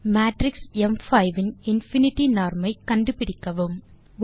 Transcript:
matrix ம்5 இன் infinity norm ஐ கண்டுபிடிக்கவும்